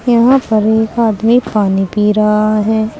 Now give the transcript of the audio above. यहां पर एक आदमी पानी पी रहा है।